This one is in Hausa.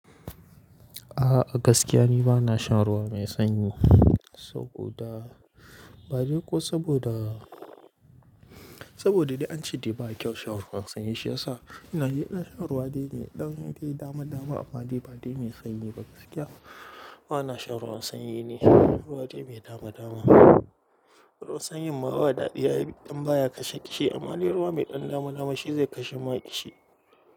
A'a gaskiya ni bana shan ruwa mai sanyi saboda, ba dai ko saboda, saboda dai ance bai kyau shan ruwan sanyi. Shi yasa ina yi ɗan ruwa dai mai ɗan dai dama dama amma dai ba dai mai sanyi ba. Gaskiya bana shan ruwan sanyi ne, ruwa dai mai dama dama. Ruwan sanyi ma ba daɗiyi idan baya kashe kishi amma dai ruwa mai ɗan dama dama shi zai kashe ma kishi.